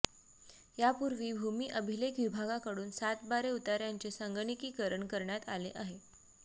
यापूर्वी भूमि अभिलेख विभागाकडून सातबारे उताऱ्यांचे संगणकीकरण करण्यात आले आहे